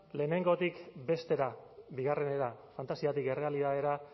lehenengotik bestera bigarrenera fantasiatik errealitatera